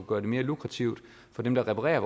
gøre det mere lukrativt for dem der reparerer